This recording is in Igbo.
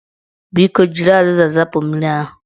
Biko, jiri azịza zapụ mmiri ahụ